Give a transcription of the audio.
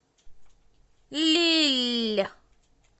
лилль